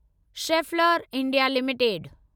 Schaeffler India limited